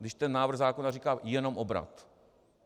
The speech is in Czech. Když ten návrh zákona říká jenom obrat.